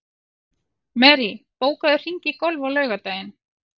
Marie, bókaðu hring í golf á laugardaginn.